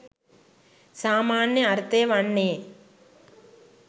සාමාන්‍ය අර්ථය වන්නේ